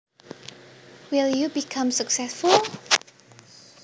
Will you become successful